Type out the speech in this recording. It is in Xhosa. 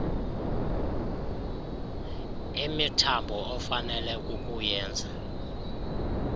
imithambo ofanele kukuyenza